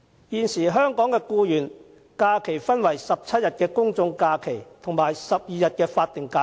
現時香港僱員的假期，分為17天公眾假期和12天法定假期。